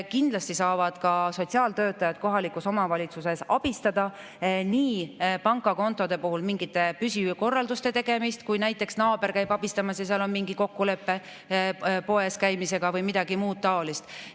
Kindlasti saavad ka kohaliku omavalitsuse sotsiaaltöötajad abistada nii pangakontode puhul mingite püsikorralduste tegemisel kui ka näiteks naaber saab käia abistamas, kui on mingi kokkulepe poes käimise kohta või midagi muud taolist.